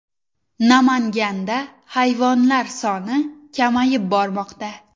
Namanganda hayvonlar soni kamayib bormoqda .